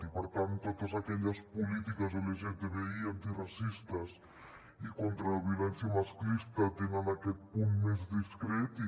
i per tant totes aquelles polítiques lgtbi antiracistes i contra la violència masclista tenen aquest punt més discret i